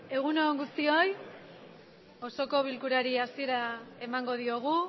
egun on guztioi osoko bilkurari hasiera emango diogu